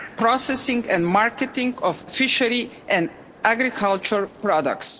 the processing and marketing of fishery and agricultural products.